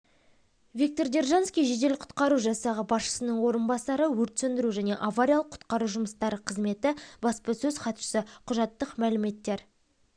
виктор держанский жедел-құтқару жасағы басшысының орынбасары өрт сөндіру және авариялық-құтқару жұмыстары қызметі баспасөз хатшысы құжаттық мәліметтер